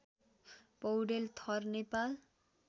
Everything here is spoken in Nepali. पौडेल थर नेपाल